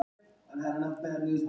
Laxfoss